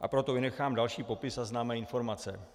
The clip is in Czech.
a proto vynechám další popis a známé informace.